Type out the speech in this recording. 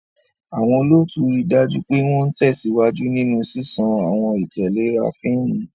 Àwọn olóòtú rí i dájú pé wọ́n ń tẹ̀síwájú nínú ṣíṣàn àwọn ìtẹ̀léra fíìmù.